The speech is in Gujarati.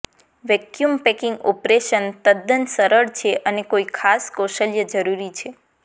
વેક્યૂમ પેકિંગ ઓપરેશન તદ્દન સરળ છે અને કોઈ ખાસ કૌશલ્ય જરૂરી છે